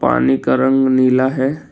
पानी का रंग नीला है।